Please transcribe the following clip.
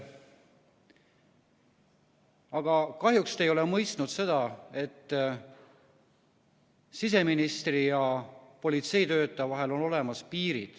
Aga kahjuks te ei ole mõistnud seda, et siseministri ja politseitöötaja vahel on olemas piir.